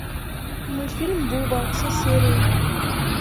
мультфильм буба все серии